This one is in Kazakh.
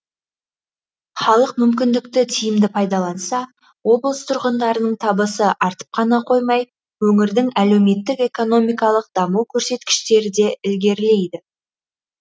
халық мүмкіндікті тиімді пайдаланса облыс тұрғындарының табысы артып қана қоймай өңірдің әлеуметтік экономикалық даму көрсеткіштері де ілгерілейді